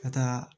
Ka taa